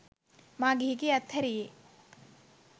මා ගිහිගෙය අත් හැරියේ